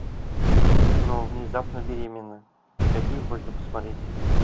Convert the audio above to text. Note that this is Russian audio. кино внезапно беременна какие можно посмотреть